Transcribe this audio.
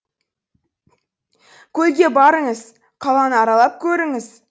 көлге барыңыз қаланы аралап көріңіз